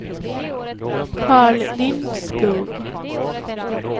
Karl Lindskog